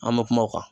An bɛ kuma o kan